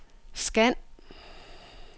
scan